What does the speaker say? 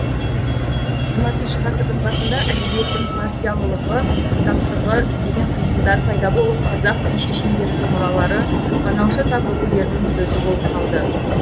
жиырмасыншы ғасырдың басында әдебиеттің партиялығы таптығы деген қисындар пайда болып қазақ би шешендерінің мұралары қанаушы тап өкілдерінің сөзі болып қалды